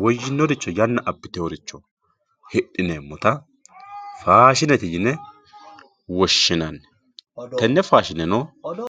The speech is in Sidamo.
woyinoricho yana abitinoricho hidineemotta faashinete yine woshinnanni tene faashineno